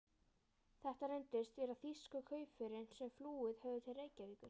Þetta reyndust vera þýsku kaupförin, sem flúið höfðu til Reykjavíkur.